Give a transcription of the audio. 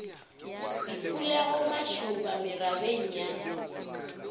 se phulego mašoba merabeng ya